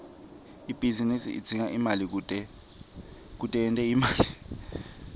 ibhizinisi idzinga imali kute yente imali